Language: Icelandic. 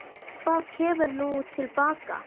Hvað kemur nú til baka?